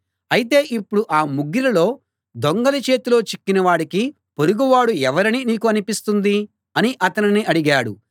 అయితే ఇప్పుడు ఆ ముగ్గురిలో దొంగల చేతిలో చిక్కిన వాడికి పొరుగువాడు ఎవరని నీకు అనిపిస్తుంది అని అతనిని అడిగాడు